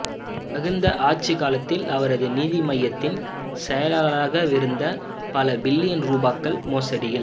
மகிந்த ஆட்சிக்காலத்தில் அவரது நிதியமைச்சின் செயலாளராகவிருந்து பல பில்லியன் ரூபாக்கள் மோசடியில்